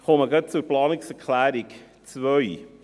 Ich komme gleich zu Planungserklärung 2.